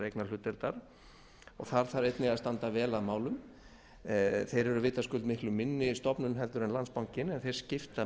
vegna þeirrar eignarhlutdeildar þar þarf einnig að standa vel að málum þeir eru vitaskuld miklu minni stofnun heldur en landsbankinn en þeir skipta